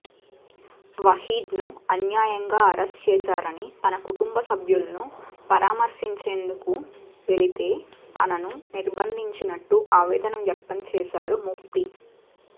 వహీద్ను అన్యాయంగా అరెస్టు చేశారని తన కుటుంబ సభ్యులను పరామర్శించేందుకు వెళితే తనను నిర్బంధించినట్లు ఆవేదన వ్యక్తం చేశారు ముఫ్తీ